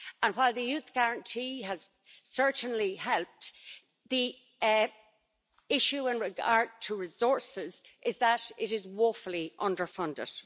While the youth guarantee has certainly helped, the issue as regards resources is that it is woefully underfunded.